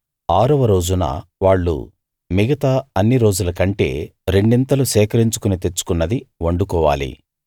ఆరవ రోజున వాళ్ళు మిగతా అన్ని రోజుల కంటే రెండింతలు సేకరించుకుని తెచ్చుకున్నది వండుకోవాలి